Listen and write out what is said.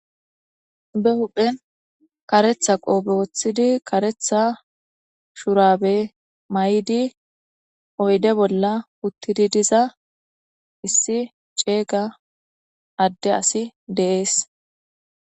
Be huphen kareththa qoppe woththidi oydde bolla uttidi de'iza issi attumay beessizayssa beesees.